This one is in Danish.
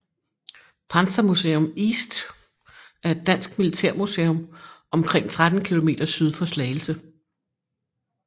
Panzermuseum East er et dansk militærmuseum omkring 13 km syd for Slagelse